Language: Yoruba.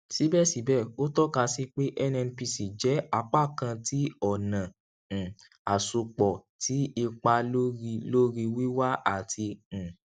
sibẹsibẹ o tọka si pe nnpc jẹ apakan ti ọna um asopọ ti ipa lori lori wiwa ati um